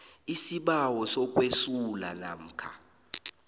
isibawo sokwesula namkha